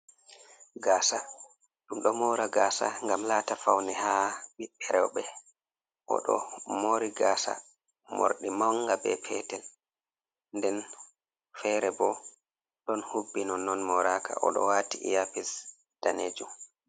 Gaasa ɗum ɗo moora gaasa ngam laata fauwne haa ɓiɓɓe rewɓe, o ɗo moori gaasa moorɗi mannga be peetel. Nden feere bo, ɗon hubbi nonnon mooraaka, o ɗo waati iyapes daneejum.